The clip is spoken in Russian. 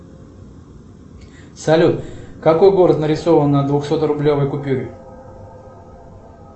салют какой город нарисован на двухсот рублевой купюре